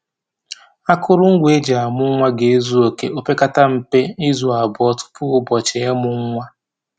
Akụrụngwa e ji amụ nwa ga-ezu oke o pekata mpe, izu abụọ tupu ụbọchị ịmụ nwa